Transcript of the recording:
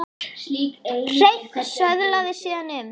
Hreinn söðlaði síðan um.